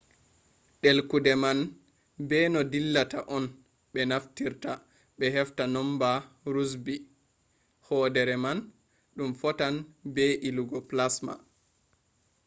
ɗelkude man be no dillata on ɓe naftirta ɓe hefta numba rosbi hoodere man ɗum fotan be je ilugo plasma